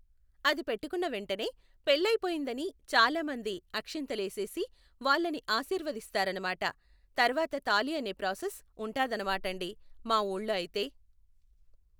అది పెట్టుకున్న వెంటనే పెళ్ళయిపోయిందని చాలా మంది అక్షింతలేసెసి వాళ్ళని ఆశీర్వదరిస్తారన్నమాట. తర్వాత తాళి అనే ప్రాసెస్ ఉంటాదనమాటండి మా ఊళ్ళో అయితే.